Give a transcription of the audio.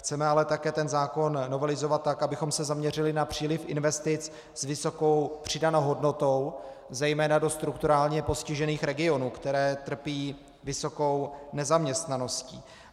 Chceme ale také ten zákon novelizovat tak, abychom se zaměřili na příliv investic s vysokou přidanou hodnotou zejména do strukturálně postižených regionů, které trpí vysokou nezaměstnaností.